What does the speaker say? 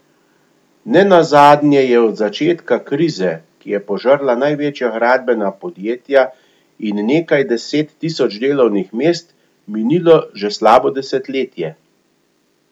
Ne nazadnje je od začetka krize, ki je požrla največja gradbena podjetja in nekaj deset tisoč delovnih mest, minilo že slabo desetletje.